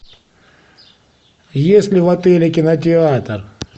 есть ли в отеле кинотеатр